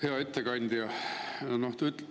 Hea ettekandja!